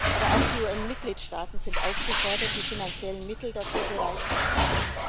Aber auch die UN Mitgliedstaaten sind aufgefordert, die finanziellen Mittel dafür bereitzustellen.